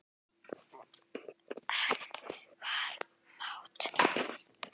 Hann var mát.